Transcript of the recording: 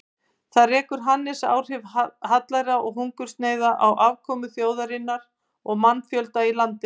Þar rekur Hannes áhrif hallæra og hungursneyða á afkomu þjóðarinnar og mannfjölda í landinu.